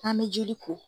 An bɛ joli ko